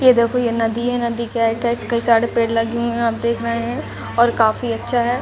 ये देखो ये नदी है नदी के आइड-साइड कई सारे पेड़ लगी हुई है ओर आप देख रहे है ओर काफी अच्छा है।